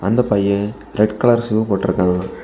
அந்தப் பையன் red colour shoe போட்ருக்கா.